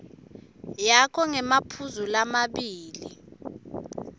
yakho ngemaphuzu lamabili